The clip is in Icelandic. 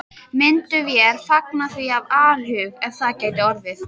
Myndum vér fagna því af alhug, ef það gæti orðið.